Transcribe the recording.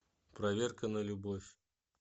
проверка на любовь